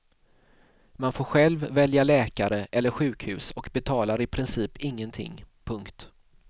Man får själv välja läkare eller sjukhus och betalar i princip ingenting. punkt